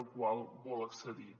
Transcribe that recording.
al qual vol accedir